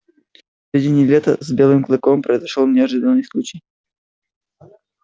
в середине лета с белым клыком произошёл неожиданный случай